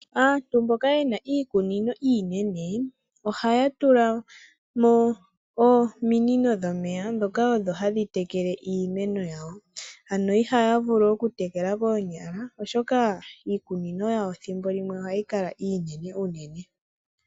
Aantu mboka yena iikunino iinene . Ohaya tulamo ominino dhomeya ndhoka dhikale odho hadhi tekele iimeno yawo. Ano ihaya vulu oku tekela koonyala oshoka iikunino yawo ethimbo limwe ohayi kala iinene unene.